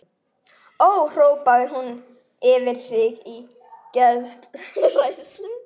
Ó, hrópaði hún upp yfir sig í geðshræringu.